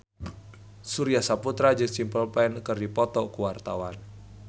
Surya Saputra jeung Simple Plan keur dipoto ku wartawan